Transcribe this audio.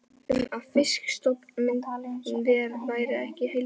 um að fisk- stofn minn væri ekki heilbrigður.